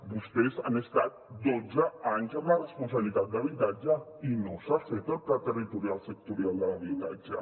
vostès han estat dotze anys amb la responsabilitat d’habitatge i no s’ha fet el pla territorial sectorial de l’habitatge